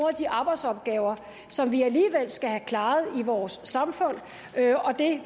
af de arbejdsopgaver som vi alligevel skal have klaret i vores samfund og